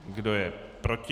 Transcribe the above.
Kdo je proti?